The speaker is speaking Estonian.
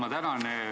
Ma tänan!